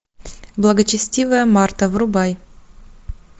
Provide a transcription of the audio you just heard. благочестивая марта врубай